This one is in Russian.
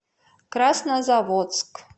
краснозаводск